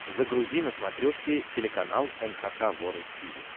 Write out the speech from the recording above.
загрузи на смотрешке телеканал эн эйч кей волд ти ви